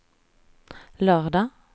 lördag